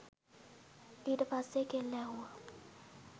ඊට පස්සේ කෙල්ල ඇහුව